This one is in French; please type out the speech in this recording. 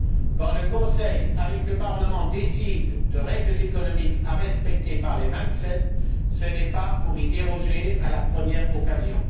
Quand le Conseil, avec le Parlement, décide de règles économiques à respecter par les vingt sept, ce n'est pas pour y déroger à la première occasion.